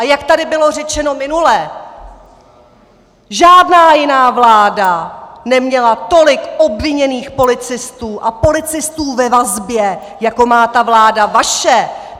A jak tady bylo řečeno minule, žádná jiná vláda neměla tolik obviněných policistů a policistů ve vazbě, jako má ta vláda vaše.